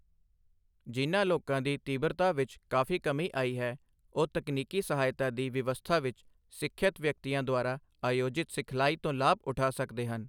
ਜਿਨ੍ਹਾਂ ਲੋਕਾਂ ਦੀ ਤੀਬਰਤਾ ਵਿੱਚ ਕਾਫ਼ੀ ਕਮੀ ਆਈ ਹੈ, ਉਹ ਤਕਨੀਕੀ ਸਹਾਇਤਾ ਦੀ ਵਿਵਸਥਾ ਵਿੱਚ ਸਿੱਖਿਅਤ ਵਿਅਕਤੀਆਂ ਦੁਆਰਾ ਆਯੋਜਿਤ ਸਿਖਲਾਈ ਤੋਂ ਲਾਭ ਉਠਾ ਸਕਦੇ ਹਨ।